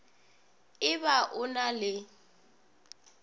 e ba o na le